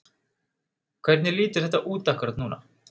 Hvernig lítur þetta út akkúrat núna?